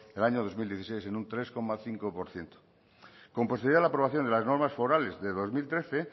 en el año dos mil dieciséis en un tres coma cinco por ciento con posibilidad la aprobación de las normas forales del dos mil trece